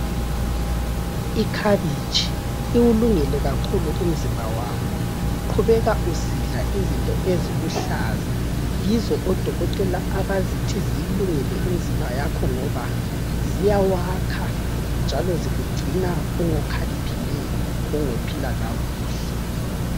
Ikhabitshi iwulungele kakhulu umzimba wakho. Qhubeka usidla izinto eziluhlaza yizo odokotela abazithi zilungele umzimba yakho ngoba ziyawakha njalo zikugcina ungokhaliphileyo ungophila kakuhle.